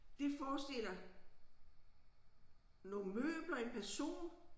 Det forestiller nogle møbler en person